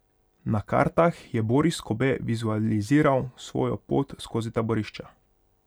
Na kartah je Boris Kobe vizualiziral svojo pot skozi taborišča.